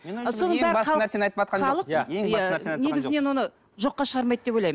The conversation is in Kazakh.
негізінен оны жоққа шығармайды деп ойлаймын